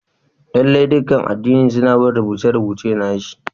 Lalle ne, dukan addini suna bin rubuce-rubucen nassi